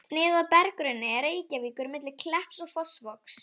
Snið af berggrunni Reykjavíkur milli Klepps og Fossvogs.